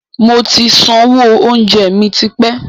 Moti sanwó oúnjẹ mi tipẹ́